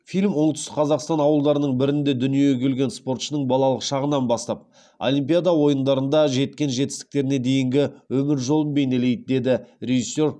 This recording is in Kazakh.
фильм оңтүстік қазақстан ауылдарының бірінде дүниеге келген спортшының балалық шағынан бастап олимпиада ойындарында жеткен жетістіктеріне дейінгі өмір жолын бейнелейді деді режиссер